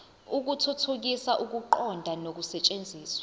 ukuthuthukisa ukuqonda nokusetshenziswa